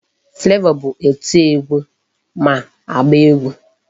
Flavor bụ oti egwu ma agba egwu.